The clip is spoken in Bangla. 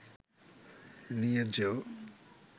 নিয়ে যেও